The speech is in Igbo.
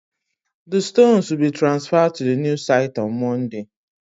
The stones will be transfered to the new site on Monday